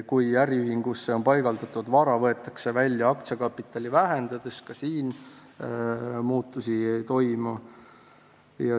Kui äriühingusse paigaldatud vara võetakse välja aktsiakapitali vähendades, siis ka siin muutusi ei toimu.